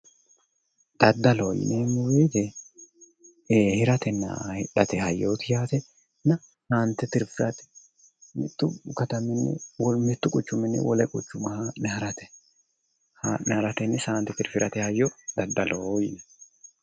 Daddalloho yineemmo woyte hiratenna hidhate hayyoti yaatenna saante tirifirate mitu quchumini wole quchuma haa'ne ha'rate saante tirfirate hayyo daddalloho yinnanni